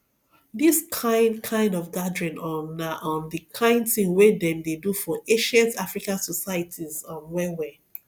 this kind kind of gathering um na um the kind thing wey dem dey do for ancient african societies um well well